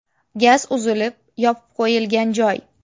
Gaz uzilib, yopib qo‘yilgan joy.